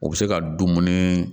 U bɛ se ka dumuni